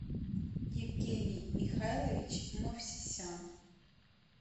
евгений михайлович мовсисян